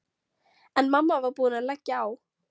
En mamma var búin að leggja á.